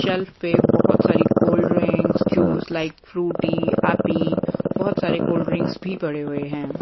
Shelf पे बहुत सारी cold drinks juice like Frooti Appy बहुत सारे कोल्ड ड्रिंक्स भी पड़े हुए हैं।